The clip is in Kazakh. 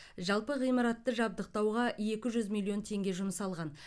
жалпы ғимаратты жабдықтауға екі жүз миллион теңге жұмсалған